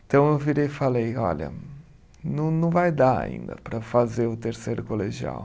Então eu virei e falei, olha, não não vai dar ainda para fazer o terceiro colegial.